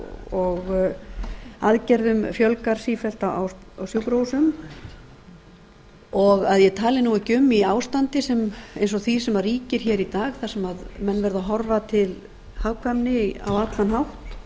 og aðgerðum fjölgar sífellt á sjúkrahúsum og ég tali nú ekki um í ástandi eins og því sem ríkir hér í dag þar sem menn verða að horfa til hagkvæmni á allan hátt og